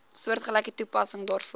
soortgelyke toepassing daarvoor